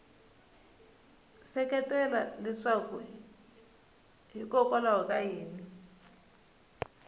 seketela leswaku hikokwalaho ka yini